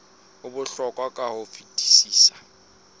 o bohlokwa ka ho fetisisa